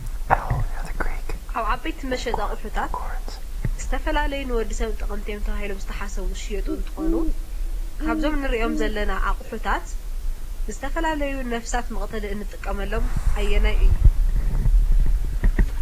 ኣብ ዓበይቲ መሸጢ ኣቑሑታት ዝተፈላለዩ ንወዲሰብ ጠቐምቲ እዮም ተባሂሎም ዝተሓሰቡ ዝሽየጡ እንትኾኑ ካብዞም ንሪኦም ዘለና ኣቑሑታት ንዝተፈላለዩ ነብሳት መቕተሊ እንጥቀመሎም ኣየናይ እዩ?